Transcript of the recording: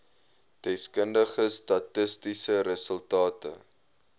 deskundige statistiese resultate